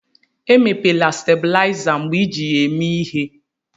Emepela stabuliza mgbe iji ya eme ihé.